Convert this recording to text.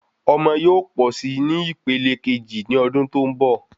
Ọmọ yóò pọ sí ní ìpele keji ni ọdún tó n bọ